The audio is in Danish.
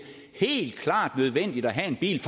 helt klart er nødvendigt at have en bil